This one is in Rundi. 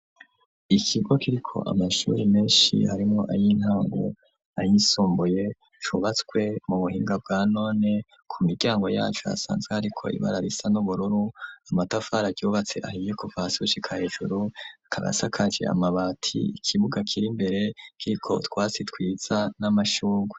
ikigo kiriko amashuri menshi harimwo ay'intango ,ayisumbuye , cubatswe mu buhinga bwa none , ku miryango yaco hasanzwe hariko ibara risa n'ubururu , amatafar'aryubatse ahiye kuva hasi gushika hejuru akab 'asakaje amabati , ikibuga kir'imbere , kiriko utwatsi twiza , n'amashurwe.